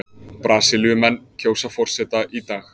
Brasilíumenn kjósa forseta í dag